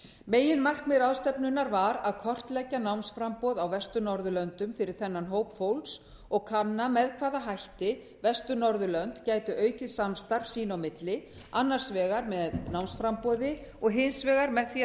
meginmarkmið ráðstefnunnar var að kortleggja námsframboð á vestur norðurlöndum fyrir þennan hóp fólks og kanna með hvaða hætti vestur norðurlönd gætu aukið samstarf sín á milli annars vegar með námsframboði og hins vegar með því að